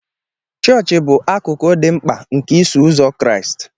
Chọọchị bụ akụkụ dị mkpa nke Iso Ụzọ Kraịst.